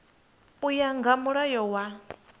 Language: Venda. u ya nga mulayo wa